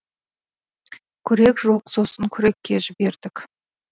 күрек жоқ сосын күрекке жібердік